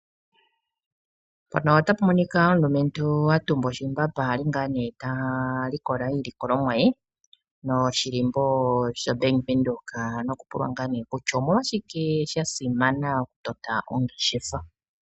Mpano otapu monika omulumentu atumba oshimbamba ali ngaa nee ta likola iilikolomwa ye. Noshilimbo sho Bank Windhoek noku pulwa ngaa nee kutya omolwashike sha simana oku tota oongeshefa.